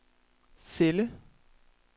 celle